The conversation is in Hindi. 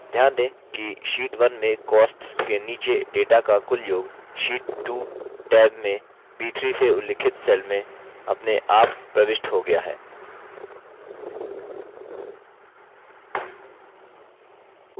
ध्यान दें कि sheet 1 में costs के नीचे data का कुल योग sheet 2 टैब में b3 से उल्लिखित cell में अपने आप प्रविष्ट हो गया है